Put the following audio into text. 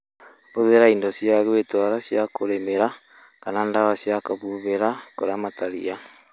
Hũthĩra indo cia gwĩtwara cia kũrĩmĩra kana dawa cia kũhũhira kũramata ria